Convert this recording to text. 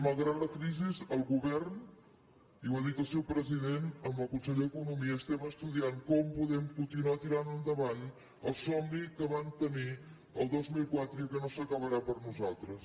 malgrat la crisi el govern i ho ha dit el seu president amb el conseller d’economia estem estudiant com podem continuar tirant endavant el somni que vam tenir el dos mil quatre i que no s’acabarà per nosaltres